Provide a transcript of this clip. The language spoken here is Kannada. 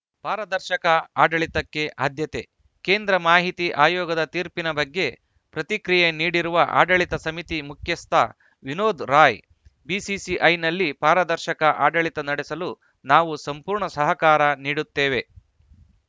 ಪಾರದರ್ಶಕ ಆಡಳಿತಕ್ಕೆ ಆದ್ಯತೆ ಕೇಂದ್ರ ಮಾಹಿತಿ ಆಯೋಗದ ತೀರ್ಪಿನ ಬಗ್ಗೆ ಪ್ರತಿಕ್ರಿಯೆ ನೀಡಿರುವ ಆಡಳಿತ ಸಮಿತಿ ಮುಖ್ಯಸ್ಥ ವಿನೋದ್‌ ರಾಯ್‌ ಬಿಸಿಸಿಐನಲ್ಲಿ ಪಾರದರ್ಶಕ ಆಡಳಿತ ನಡೆಸಲು ನಾವು ಸಂಪೂರ್ಣ ಸಹಕಾರ ನೀಡುತ್ತೇವೆ